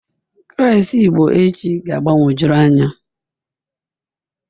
Klas Igbo echi ga-agbagwojuru anya